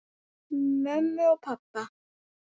Mömmu og pabba!